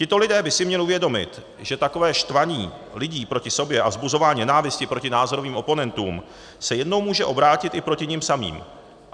Tito lidé by si měli uvědomit, že takové štvaní lidí proti sobě a vzbuzování nenávisti proti názorovým oponentům se jednou může obrátit i proti nim samým.